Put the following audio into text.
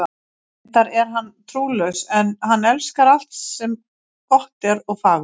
Reyndar er hann trúlaus, en hann elskar alt sem gott er og fagurt.